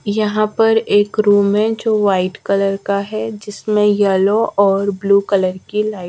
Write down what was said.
यहां पर एक रूम है जो व्हाइट कलर का है जिसमें येलो और ब्लू कलर की लाइट --